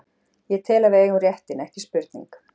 Ég tel að við eigum réttinn, ekki spurning.